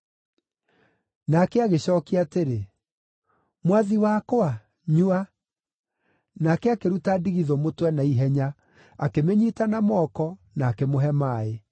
Nake agĩcookia atĩrĩ, “Mwathi wakwa, nyua,” nake akĩruta ndigithũ mũtwe na ihenya, akĩmĩnyiita na moko, na akĩmũhe maaĩ.